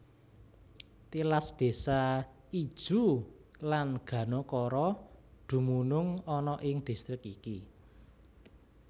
Tilas désa Ijuw lan Ganokoro dumunung ana ing distrik iki